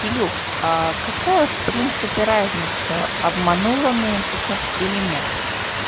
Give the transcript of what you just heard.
илюша а какая в принципе разница обманула он её сейчас или нет